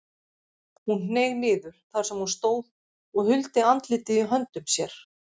Hún hneig niður þar sem hún stóð og huldi andlitið í höndum sér.